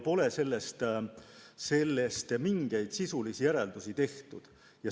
Sellestki pole mingeid sisulisi järeldusi tehtud.